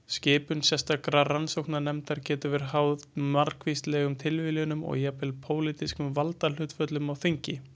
Skipun sérstakra rannsóknarnefnda getur verið háð margvíslegum tilviljunum og jafnvel pólitískum valdahlutföllum á þingi.